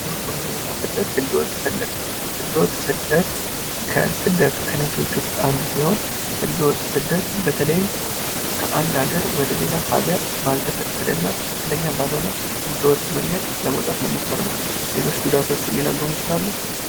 ጉዞ፣ ቱሪዝም እና ስደት፤ ህገወጥ ስደት፤ ህገወጥ ስደት ከስደት አይነቶች ውስጥ አንዱ ሲሆን ህገወጥ ስደት በተለይም ከአንድ ሃገር ወደሌላ ሃገር ባልተደቀደ እና ትክክለኛ ባልሆነ በህገወጥ መንገድ ለመውጣት መሞከር ነው። ሌሎች ጉዳቶቹን ሊነግሩን ይችላሉ?